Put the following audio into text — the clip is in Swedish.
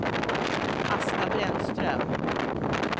Asta Brännström